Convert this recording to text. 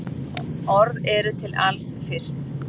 Orð eru til alls fyrst.